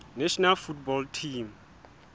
national football team